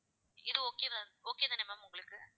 இது okay தான் okay தான ma'am உங்களுக்கு